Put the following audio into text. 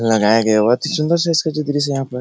लगाया गया है बहुत ही सुन्दर सा इसका जो दृश्य है यहाँ पर --